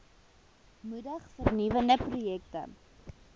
moedig vernuwende projekte